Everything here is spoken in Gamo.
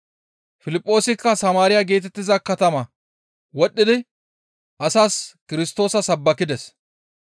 Piliphoosikka Samaariya geetettiza katamaa wodhdhidi asaas Kirstoosa sabbakides.